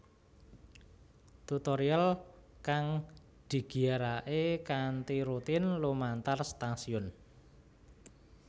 Tutorial kang digiyarake kanthi rutin lumantar stasiun